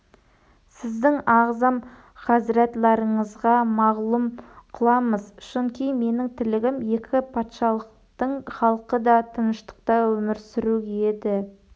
сіздің ағзам хазрәтларыңызға мағлұм қыламыз шунки менің тілегім екі патшалықтың халқы да тыныштықта өмір сүру еді